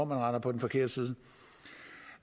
render på den forkerte side